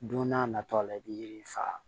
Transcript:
Don n'a nataw la i bi yiri faga